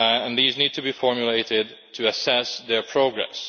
These need to be formulated to assess their progress.